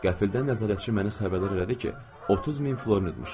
Qəfildən nəzarətçi məni xəbərdar elədi ki, 30000 florin uzmuşam.